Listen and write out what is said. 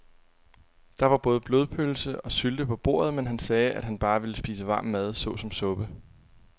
Der var både blodpølse og sylte på bordet, men han sagde, at han bare ville spise varm mad såsom suppe.